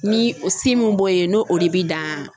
Ni o si min b'o ye n'o o de bi dan